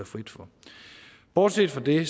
frit for bortset fra det